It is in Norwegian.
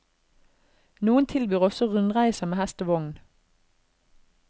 Noen tilbyr også rundreiser med hest og vogn.